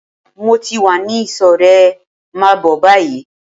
Mo ti wá ní ìsò rẹ, máa bó báyìí!